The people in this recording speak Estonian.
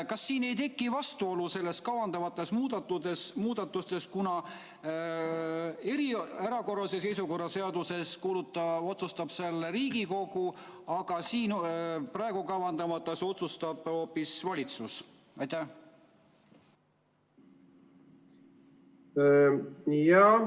Kas siin ei teki vastuolu selles kavandatavas muudatuses, kuna erakorralise seisukorra seaduse järgi otsustab selle Riigikogu, aga praegu kavandatava järgi otsustab hoopis valitsus?